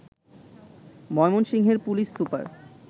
ময়মনসিংহের police super